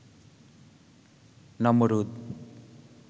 নমরুদ